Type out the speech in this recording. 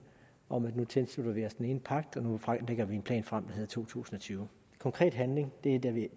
om at nu tilslutter vi os den ene pagt og nu lægger vi en plan frem der hedder to tusind og tyve konkret handling er det vi